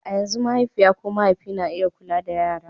a yanzu mahaifiya ko mahaifi na iya kula da yara